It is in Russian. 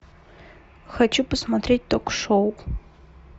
хочу посмотреть ток шоу